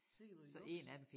Sikke noget juks